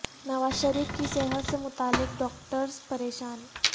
نواز شریف کی صحت سے متعلق ڈاکٹر ز پریشان